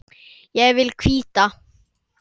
Ég vil hvíta.